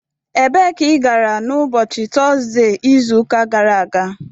Ebee ka ị gara n' ụbọchị Tọzde izu ụka gara aga?